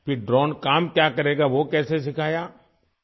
پھر ڈرون کیا کام کرے گا، کیسے سکھایا گیا؟